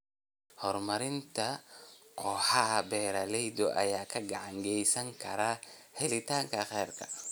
Horumarinta kooxaha beeralayda ayaa gacan ka geysan kara helitaanka kheyraadka.